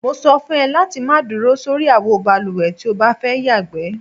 Mo so̩ fún e̩ láti má duro sórí àwo balùwè tí o bá fé̩ yàgbé.